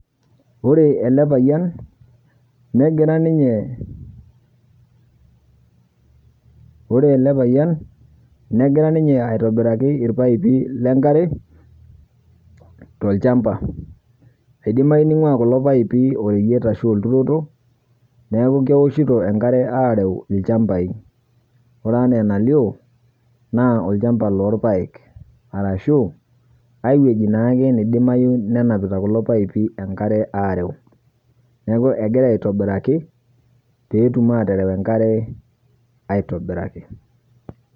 Ore ele payian negira ninye, orele payian negira ninye aitobiraki ilpaipi lenkare tolchamba. Eidimayu neing'uaa kulo paipi oreyet ashu olturoto neaku keoshito enkare aareu ilchambai. Ore anaa enalio naa olchamba loolpaek arashu aiwueji naake naidimayu nenapita kulo paipi enkare aareu. Neaku egira aitobiraki peetum aatereu enkare aitobiraki.